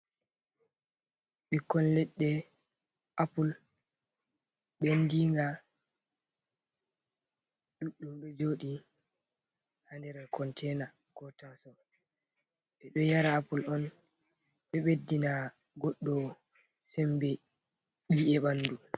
Bikkon ledde apple, bendinga ɗuɗɗum, do jodi hader containa ko tasau.Be do yara apple on, do beddina goddow sembe i’e bandu.